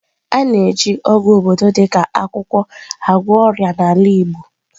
A na-eji ọgwụ obodo dị ka akwụkwọ agwọ ọrịa n'ala igbo.